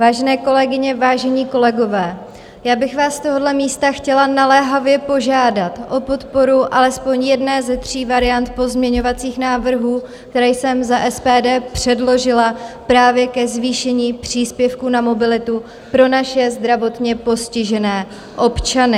Vážené kolegyně, vážení kolegové, já bych vás z tohoto místa chtěla naléhavě požádat o podporu alespoň jedné ze tří variant pozměňovacích návrhů, které jsem za SPD předložila právě ke zvýšení příspěvku na mobilitu pro naše zdravotně postižené občany.